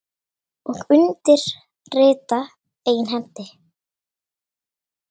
Og undir rita eigin hendi